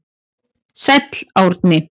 Sæll Árni.